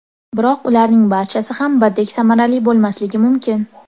Biroq ularning barchasi ham birdek samarali bo‘lmasligi mumkin.